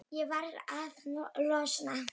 Ég varð að losna.